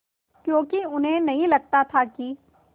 क्योंकि उन्हें नहीं लगता था कि